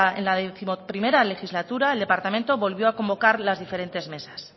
en la once legislatura el departamento volvió a convocar las diferentes mesas